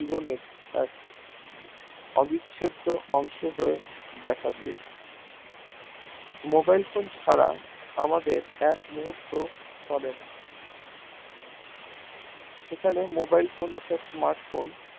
জীবনের এক অবিচ্ছেদ্য অংশ হয় উঠে দেখা দিয়েছে mobile phone ছাড়া আমাদের এক মুহূর্ত চলে না সেখানে mobile phone অর্থাৎ smart phone